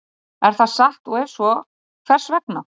Er það satt og ef svo, hvers vegna?